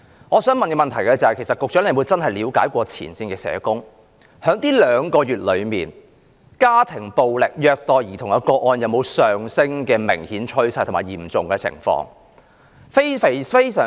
我想問局長有否真正向前線社工了解，在這兩個月內，家庭暴力和虐待兒童個案有否明顯上升及惡化的趨勢？